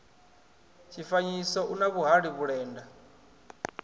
tshifanyiso u na vhuhali vhulenda